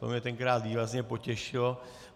To mě tenkrát výrazně potěšilo.